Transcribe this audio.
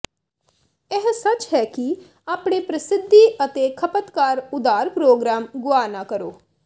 ਇਹ ਸੱਚ ਹੈ ਕਿ ਆਪਣੇ ਪ੍ਰਸਿੱਧੀ ਅਤੇ ਖਪਤਕਾਰ ਉਧਾਰ ਪ੍ਰੋਗਰਾਮ ਗੁਆ ਨਾ ਕਰੋ